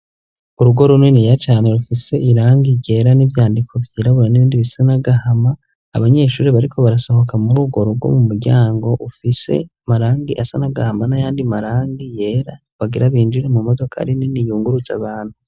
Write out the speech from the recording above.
Urugo runiniya cane rufise irangi ryera n'ivyandiko vyirabura n'ibindi bisa n'agahama ; abanyeshure bariko barasohoka muri urwo rugo mu muryango ufise amarangi asa n'agahama n'ayandi marangi yera, bagira binjire mu modokari nini yunguruza abantu.